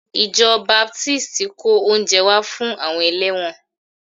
Ìjọ Baptist kó oúnjẹ wá fún àwọn ẹlẹ́wọ̀n